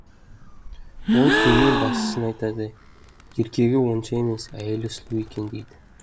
ол керуен басшысына айтады еркегі онша емес әйелі сұлу екен дейді